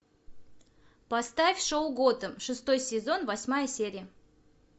поставь шоу готэм шестой сезон восьмая серия